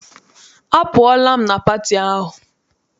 Apụọla m na pati ahụ.